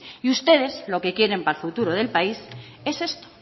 y ustedes lo que quieren para el futuro del país es esto